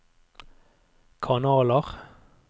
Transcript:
kanaler